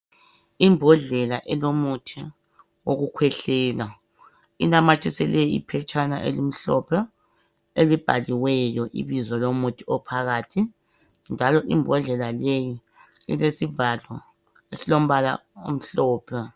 Imbhodlela elomuthi okukhwehlela inamathiselwe iphetshana elimhlophe elibhaliweyo ibizo lomuthi ophakathi njalo imbhodlela leyi ilesivalo esilombala omhlophe.